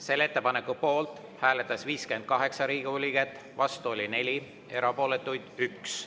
Selle ettepaneku poolt hääletas 58 Riigikogu liiget, vastu oli 4, erapooletuid 1.